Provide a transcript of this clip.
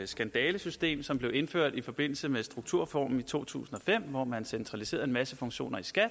det skandalesystem som blev indført i forbindelse med strukturreformen i to tusind og fem hvor man centraliserede en masse funktioner i skat